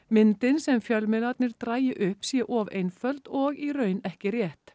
myndin sem fjölmiðlarnir dragi upp sé of einföld og í raun ekki rétt